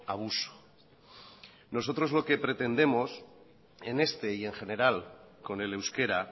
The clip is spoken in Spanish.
abuso nosotros lo que pretendemos en este y en general con el euskera